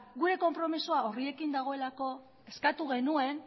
gure konpromezua horiekin dagoelako eskatu genuen